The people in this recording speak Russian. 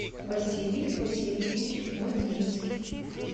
василий васильевич мытницкий